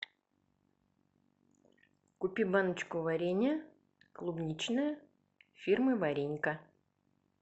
купи баночку варенья клубничное фирмы варенька